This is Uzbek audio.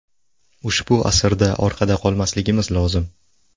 Ushbu asrda orqada qolmasligimiz lozim.